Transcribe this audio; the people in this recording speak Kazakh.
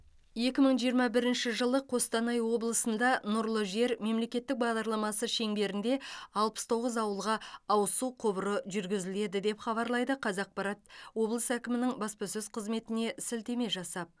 екі мың жиырма бірінші жылы қостанай облысында нұрлы жер мемлекеттік бағдарламасы шеңберінде алпыс тоғыз ауылға ауыз су құбыры жүргізіледі деп хабарлайды қазақпарат облыс әкімінің баспасөз қызметіне сілтеме жасап